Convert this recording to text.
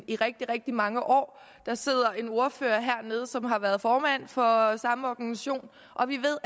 i rigtig rigtig mange år der sidder en ordfører hernede som har været formand for samme organisation og vi ved